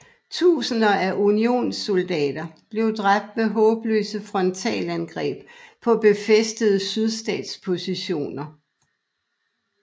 Tusinder af unionssoldater blev dræbt ved håbløse frontalangreb på befæstede sydstatspositioner